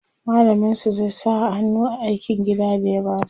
mallamin su zai sa hannu a aikin gida da ya basu